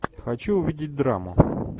хочу увидеть драму